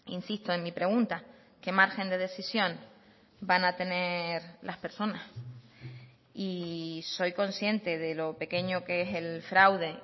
insisto en mi pregunta qué margen de decisión van a tener las personas y soy consciente de lo pequeño que es el fraude